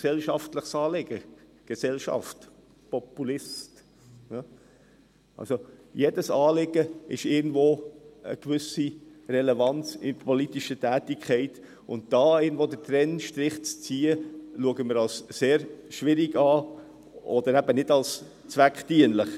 Jedes Anliegen hat eine gewisse politische Relevanz, und hier irgendwo den Trennstrich zu ziehen, erachten wir als sehr schwierig, oder eben nicht als zweckdienlich.